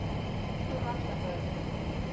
Ég er rólegur og afslappaður.